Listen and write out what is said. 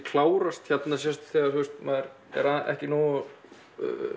klárast hérna sést þegar maður er ekki nógu